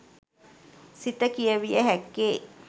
සිත කියවිය හැක්කේ